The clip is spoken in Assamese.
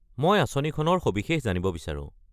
মই আঁচনিখনৰ সবিশেষ জানিব বিচাৰো।